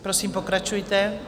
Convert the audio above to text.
Prosím, pokračujte.